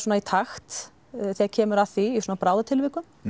í takt þegar kemur að því í bráðatilvikum